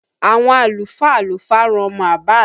Àwọn àlùfáà ló farun ọmọ Abass